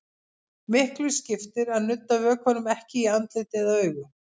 Miklu skiptir að nudda vökvanum ekki í andlit eða augu.